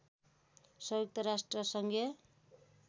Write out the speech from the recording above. संयुक्त राष्ट्र सङ्घीय